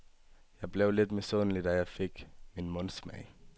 Jeg blev lidt misundelig, da jeg fik min mundsmag.